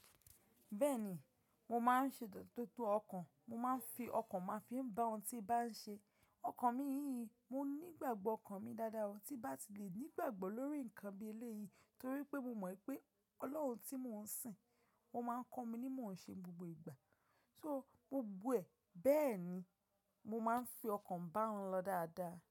Bẹ́ẹ̀ni, mo máa ń ṣe títú ọkàn, mo máa ń fi ọkàn máa ń fi bá ohun tí bá ń ṣe. Ọkàn mi yíyí, mo nígbàgbọ́ ọkàn mi dáadáa, tí bá ti lè nígbàgbọ́ lórí ǹkan bí eléyìí torí pé mo mọ̀ pé Ọlọ́run tí mò ń sìn, ó máa ń kọ́ mi ní mò ń ṣe gbogbo ìgbà. So gbogbo ẹ, bẹ́ẹ̀ni, mo máa ń fi ọkàn bá wọn lọ dáadáa.